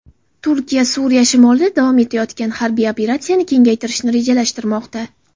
Turkiya Suriya shimolida davom etayotgan harbiy operatsiyani kengaytirishni rejalashtirmoqda.